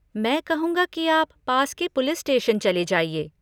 मैं कहूँगा कि आप पास के पुलिस स्टेशन चले जाइए।